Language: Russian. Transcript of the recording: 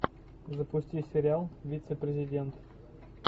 запусти сериал вице президент